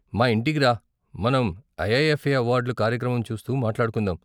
మా ఇంటికి రా, మనం ఐఐఎఫ్ఏ అవార్డ్ల కార్యక్రమం చూస్తూ మాట్లాడుకుందాం.